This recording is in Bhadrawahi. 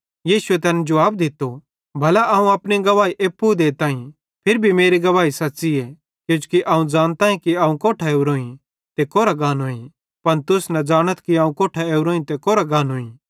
यीशुए तैन जुवाब दित्तो भला अवं अपनी गवाही एप्पू देताईं फिरी भी मेरी गवाही सच़्च़ीए किजोकि अवं ज़ानताईं कि अवं कोट्ठां ओरोईं ते कोरां गाताईं पन तुस न ज़ानाथ कि अवं कोट्ठां ओरोईं ते कोरां गाताईं